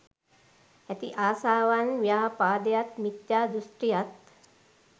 ඇති ආශාවත් ව්‍යාපාදයත් මිත්‍යා දෘෂ්ටියත්